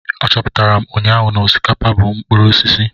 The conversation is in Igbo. Achọpụtara m ụnyaahụ na osikapa bụ mkpụrụ osisi.